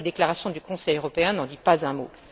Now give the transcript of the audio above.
La déclaration du Conseil européen n'en dit pas un